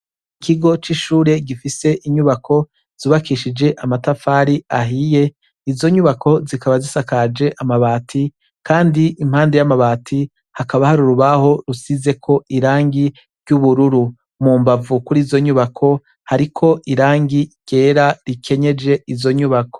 Ikigo c’ishure gifise inyubako zubakishije amatafari ahiye, izo nyubako zikaba zisakaje amabati, Kandi impande y’amabati hakaba har’urubaho rusizeko irangi ry’ubururu, mumbavu kurizo nyubako , hariko irangi ryera rikenyeje izo nyubako.